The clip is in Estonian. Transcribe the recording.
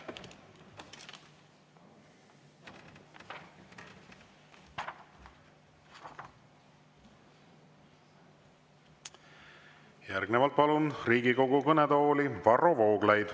Järgnevalt palun Riigikogu kõnetool Varro Vooglaiu.